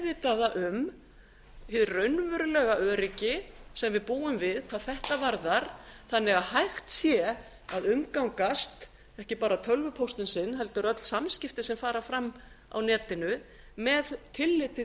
meðvitaða um hið raunverulega öryggi sem við búum við hvað þetta varðar þannig að hægt sé að umgangast ekki bara tölvupóstinn sinn heldur öll samskipti sem fara fram á netinu með tilliti